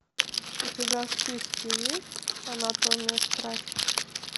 у тебя в списке есть анатомия страсти